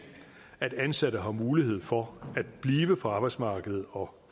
at ansatte har mulighed for at blive på arbejdsmarkedet og